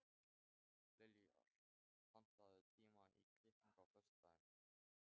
Liljar, pantaðu tíma í klippingu á föstudaginn.